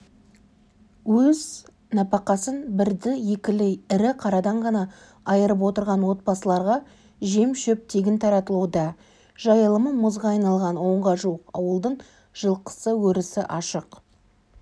ал нәпақасын бірді-екілі ірі қарадан ғана айырып отырған отбасыларға жем-шөп тегін таратылуда жайылымы мұзға айналған онға жуық ауылдың жылқысы өрісі ашық